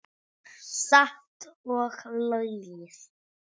Satt og logið.